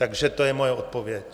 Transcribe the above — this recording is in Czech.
Takže to je moje odpověď.